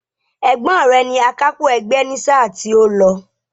Ẹ̀gbọ́n rẹ ni AKÁPÒ ẹgbẹ́ ní sáà tí ó lọ